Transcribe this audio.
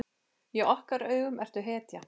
Í okkar augum ertu hetja.